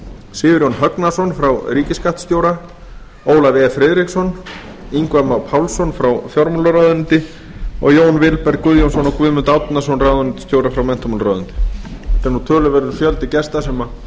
sigurjón högnason frá ríkisskattstjóra ólaf e friðriksson ingva má pálsson frá fjármálaráðuneyti og jón vilberg guðjónsson og guðmund árnason ráðuneytisstjóra frá menntamálaráðuneyti þetta er töluverður fjöldi gesta